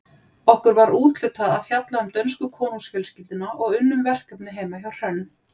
Okkur var úthlutað að fjalla um dönsku konungsfjölskylduna og unnum verkefnið heima hjá Hrönn.